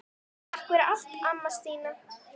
Takk fyrir allt, amma Stína.